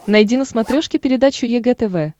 найди на смотрешке передачу егэ тв